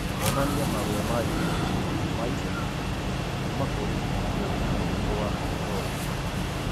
onania marũa ma i-mīrū ma ica ikuhĩ kuuma kũrĩ rũũri rũa rolly